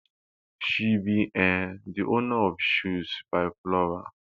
she be um di owner of shoes by flora